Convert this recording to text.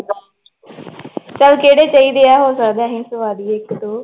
ਚੱਲ ਕਿਹੜੇ ਚਾਹੀਦੇ ਆ ਹੋ ਸਕਦਾ ਅਸੀਂ ਸਵਾ ਦੇਈਏ ਇੱਕ ਦੋ।